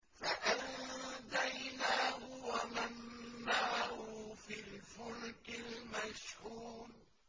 فَأَنجَيْنَاهُ وَمَن مَّعَهُ فِي الْفُلْكِ الْمَشْحُونِ